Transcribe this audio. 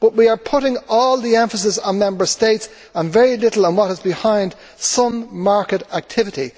But we are putting all the emphasis on Member States and very little on what is behind some market activity.